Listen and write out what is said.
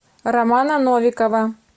романа новикова